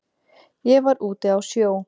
Ég var úti á sjó.